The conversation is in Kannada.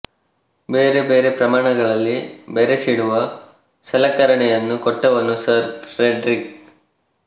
ಬೇರೆ ಬೇರೆ ಪ್ರಮಾಣಗಳಲ್ಲಿ ಬೆರೆಸಿಡುವ ಸಲಕರಣೆಯನ್ನು ಕೊಟ್ಟವನು ಸರ್ ಫ್ರೆಡರಿಕ್